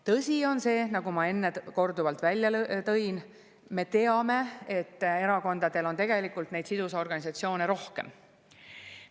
Tõsi on see, nagu ma enne korduvalt välja tõin, et tegelikult on erakondadel neid sidusorganisatsioone rohkem.